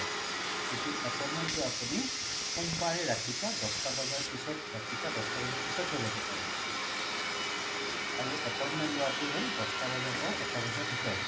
কিন্তু আপুনি appointment টো আপুনি সোমবাৰে ৰাতিপুৱা দশটা বজাৰ পিছত ৰাতিপুৱা দশ বজাৰ পিছত হে লব পাৰে আৰু appointment লোৱা টো হল দশ বজাৰ পৰা এটা বজাৰ ভিতৰতে